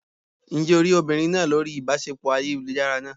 Ǹjẹ́ o rí obìnrin náà lórí ìbáṣepọ̀ ayélujára náà?